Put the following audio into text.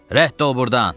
Rədd ol burdan.